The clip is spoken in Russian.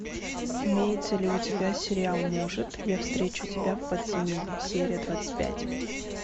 имеется ли у тебя сериал может я встречу тебя в подземелье серия двадцать пять